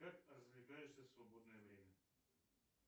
как развлекаешься в свободное время